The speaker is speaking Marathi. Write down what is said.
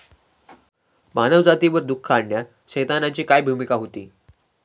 मानवजातीवर दुःख आणण्यात सैतानाची काय भूमिका होती?